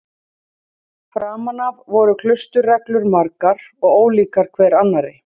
Framan af voru klausturreglur margar og ólíkar hver annarri.